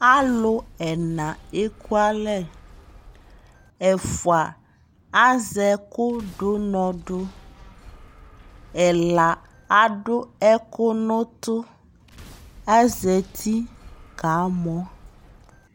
alʋ ɛna ɛkʋ alɛ, ɛƒʋa azɛ ɛkʋ dʋ ʋnɔ dʋ, ɛla adʋ ɛkʋ nʋ ʋtʋ, azati kamɔ